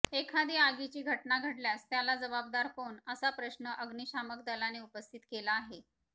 एखादी आगीची घटना घडल्यास त्याला जबाबदार कोण असा प्रश्न अग्निशामक दलाने उपस्थित केला आहे